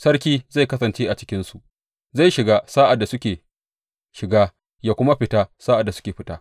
Sarki zai kasance a cikinsu, zai shiga sa’ad da suke shiga ya kuma fita sa’ad da suka fita.